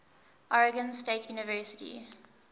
oregon state university